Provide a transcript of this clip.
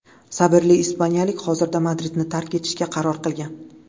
Sabrli ispaniyalik hozirda Madridni tark etishga qaror qilgan.